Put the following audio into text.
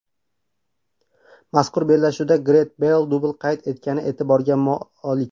Mazkur bellashuvda Garet Beyl dubl qayd etgani e’tiborga molik.